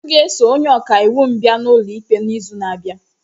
M ga-eso onye ọka iwu m bịa n'ụlọ ikpe n'izu na-abịa.